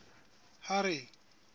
harry